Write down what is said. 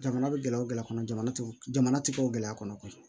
Jamana bɛ gɛlɛya o gɛlɛya kɔnɔ jamana tɛ ka gɛlɛya kɔnɔ